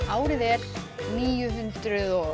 árið er níu hundruð og